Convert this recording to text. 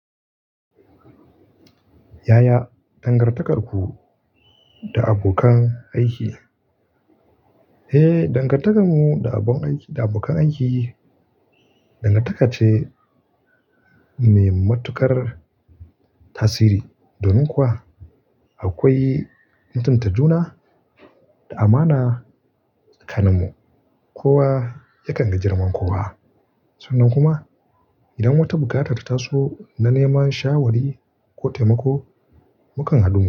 Yaya dangantakarku da abokan aiki? Eh, dangantakar mu da abokan aiki dangantaka ce mai matuƙar tasiri. Domin kuwa akwai mutunta juna da amana tsakanin mu. Kowa yakan ga girman kowa. Sannan kuma idan wata buƙatar ta taso na neman shawari ko taimako, mukan haɗu mu.